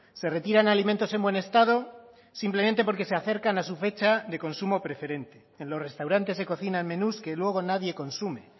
se retiran alimentos en buen estado simplemente porque se acercan a su fecha de consumo preferente en los restaurantes se cocinan menús que luego nadie consume